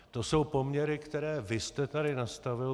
To jsou poměry, které vy jste tady nastavil.